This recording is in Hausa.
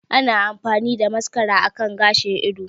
Ana amfani da mascara akan gashin ido